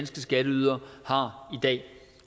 skatteydere har i dag